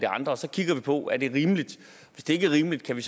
andre så kigger vi på om det er rimeligt hvis det ikke er rimeligt ser vi